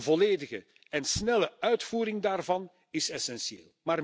Een volledige en snelle uitvoering daarvan is essentieel.